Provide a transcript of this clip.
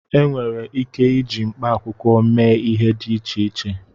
Enwere ike iji mkpaakwụkwọ mee ihe dị iche iche